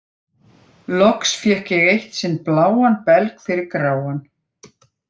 Loks fékk ég eitt sinn bláan belg fyrir gráan.